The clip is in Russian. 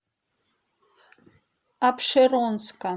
апшеронска